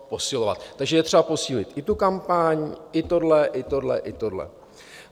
Takže je třeba posílit i tu kampaň i tohle, i tohle, i tohle.